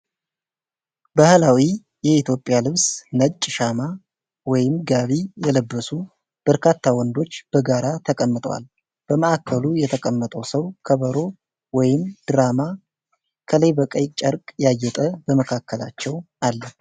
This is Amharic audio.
ባህላዊ የኢትዮጵያ ልብስ ነጭ ሻማ/ጋቢ የለበሱ በርካታ ወንዶች በጋራ ተቀምጠዋል። በማዕከሉ የተቀመጠው ሰው ከበሮ ወይም ድራም ከላይ በቀይ ጨርቅ ያጌጠ በመካከላቸው አለ።